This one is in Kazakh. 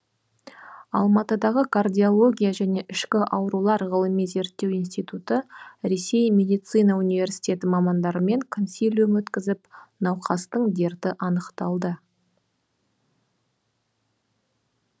алматыдағы кардиология және ішкі аурулар ғылыми зерттеу институты ресей медицина университеті мамандарымен консилиум өткізіп науқастың дерті анықталды